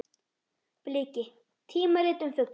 Bliki: tímarit um fugla.